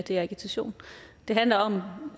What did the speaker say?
at det er agitation det handler om